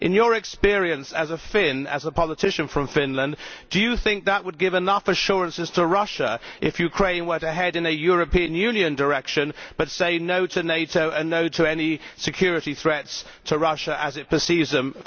In your experience as a Finn and as a politician from Finland, do you think that would give enough assurances to Russia if Ukraine were to head in a European Union direction but say no to NATO and no to any security threats to Russia, as it perceives them?